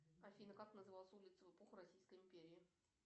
афина как называлась улица в эпоху российской империи